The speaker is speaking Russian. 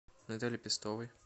наталье пестовой